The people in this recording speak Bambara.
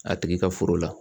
A tigi ka foro la